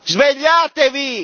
Svegliatevi!!